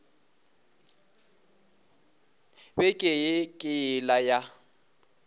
beke ye ke yela ya